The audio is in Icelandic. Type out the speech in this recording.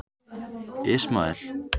Ismael